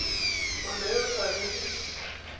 ngwana yo o sa leng